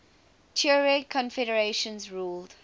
tuareg confederations ruled